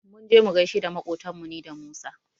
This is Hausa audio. Mun je mu gaishe da maƙotanmu ni da Musa.